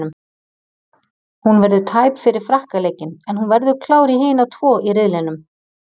Hún verður tæp fyrir Frakka leikinn en hún verður klár í hina tvo í riðlinum.